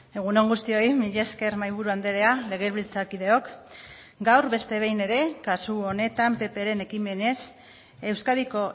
egun on guztioi mila esker mahaiburu andrea legebiltzarkideok gaur beste behin ere kasu honetan ppren ekimenez euskadiko